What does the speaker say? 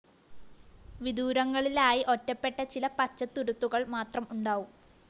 വിദൂരങ്ങളിലായി ഒറ്റപ്പെട്ട ചില പച്ചത്തുരുത്തുകള്‍ മാത്രം ഉണ്ടാവും